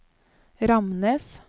Ramnes